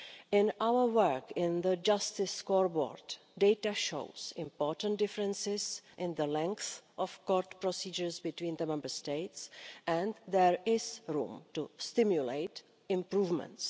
In our work, in the justice scoreboard, data shows important differences in the length of court procedures between the Member States, and there is room to stimulate improvements.